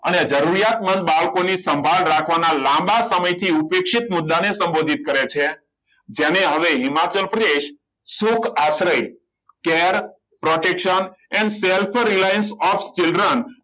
આને જરૂરિયાતમંદ બાળકોની સંભાળ રાખવાના લાંબા સમયથી ઉપેક્ષિત મુદ્દાને સંબોધિત કરે છે જેને હવે Himachal Pradesh Sukh Ashray care protection and self reliance of children